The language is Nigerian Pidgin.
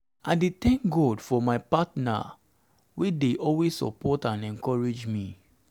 i dey thank god for my partner wey dey always support and encourage me.